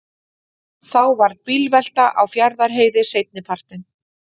Þá varð bílvelta á Fjarðarheiði seinnipartinn